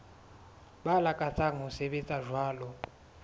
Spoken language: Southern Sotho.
ba lakatsang ho sebetsa jwalo